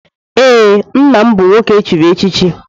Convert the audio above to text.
Ee, nna m bụ nwoke echiri echichi.